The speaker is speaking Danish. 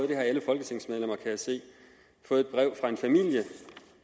det har alle folketingsmedlemmer kan jeg se fået